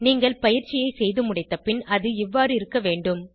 நீங்கள் பயிற்சியை செய்துமுடித்தப்பின் அது இவ்வாறு இருக்க வேண்டும்